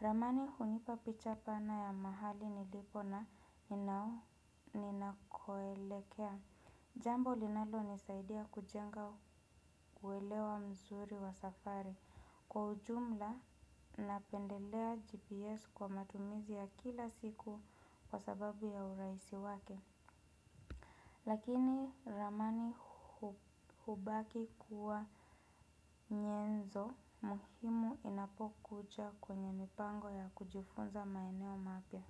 Ramani hunipa picha pana ya mahali nilipo na ninakoelekea. Jambo linalo nisaidia kujenga kuelewa mzuri wa safari. Kwa ujumla napendelea GPS kwa matumizi ya kila siku kwa sababu ya urahisi wake lakini ramani hubaki kuwa nyenzo muhimu inapokuja kwenye mipango ya kujifunza maeneo mapya.